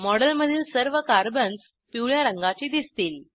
मॉडेलमधील सर्व कार्बन्स पिवळ्या रंगाचे दिसतील